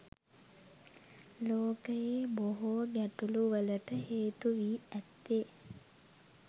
ලෝකයේ බොහෝ ගැටලුවලට හේතු වී ඇත්තේ